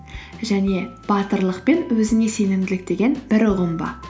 және батырлық пен өзіңе сенімділік деген бір ұғым ба